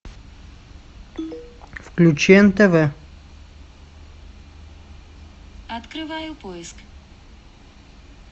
включи нтв